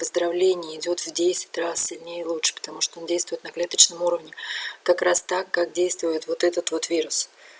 поздравление идёт в десять раз сильнее лучше потому что он действует на клеточном уровне как раз так как действует вот этот вот вирус